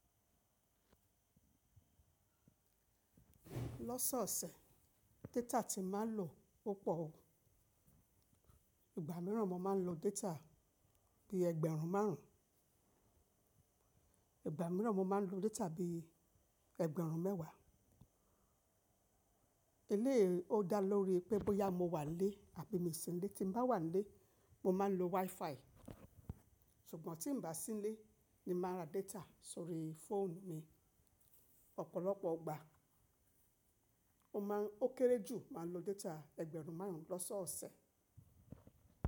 Lọ́sọ̀ọ̀sẹ̀, data ti mà ń lò ó pọ̀ o. Ìgbà mìíràn mo máa ń lo data bíi ẹgbẹ̀rún márùn. Ìgbà mìíràn mo máa ń lo data bí i ẹgbẹ̀rún mẹ́wàá. Léè o dá lórí pé bọ́yá mo wà nílé àbí mi ṣì nílé. Ti mbá wà ńlé, mo máa ń lo WiFi ṣùgbọ́n tí n bá sí nlé ni mo máa ń ra data sórí fóònù mi. Ọ̀pọ̀lọpọ̀ ìgbà, o má ń, o kéré jù máa ń lo data ẹgbẹ̀rún márùn lọ́sọọ̀sẹ̀.